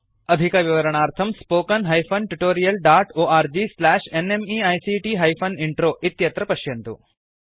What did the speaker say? अधिकविवरणार्थं spoken hyphen tutorial dot org slash NMEICT hyphen intro इत्यत्र पश्यन्तु